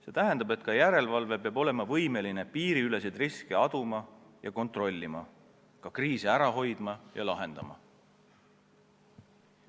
See tähendab, et ka järelevalve peab olema võimeline piiriüleseid riske aduma ja kontrollima, ka kriise ära hoidma ja lahendama.